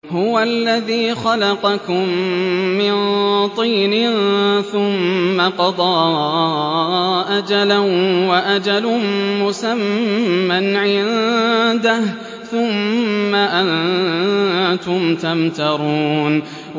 هُوَ الَّذِي خَلَقَكُم مِّن طِينٍ ثُمَّ قَضَىٰ أَجَلًا ۖ وَأَجَلٌ مُّسَمًّى عِندَهُ ۖ ثُمَّ أَنتُمْ تَمْتَرُونَ